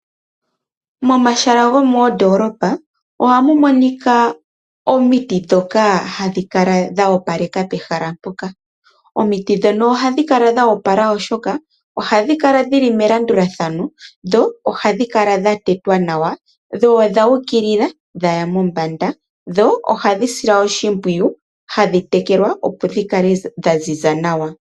Momahala gomoondoolopa ohamu monika omiti dhoka hadhi kala dha opaleka pehala mpoka. Omiti ndhono ohadhi kala dho opala oshoka ohadhi kala melandulathano dho ohadhi kala dhatetwa nawa ,dho odha ukilila dhaya mombanda ,dho ohadhi silwa oshimpwiyu hadhi tekelwa opo dhikale dhaziza nawa